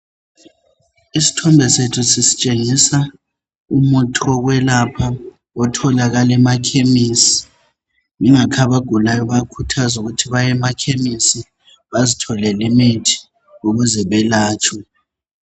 Isithombe sethu sisitshengisa umuthi wokwelapha otholakala emakhemisi. Yingakho abagulayo bayakhuthazwa ukuthi bayemakhemisi bazitholele imithi ukuze belatshwe.